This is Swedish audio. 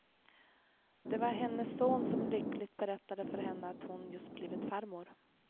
Det var hennes son som lyckligt berättade för henne att hon just blivit farmor.